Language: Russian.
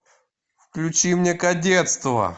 включи мне кадетство